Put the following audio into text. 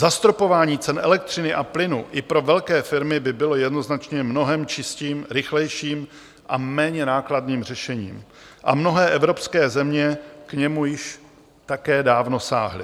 Zastropování cen elektřiny a plynu i pro velké firmy by bylo jednoznačně mnohem čistším, rychlejším a méně nákladným řešením a mnohé evropské země k němu již také dávno sáhly.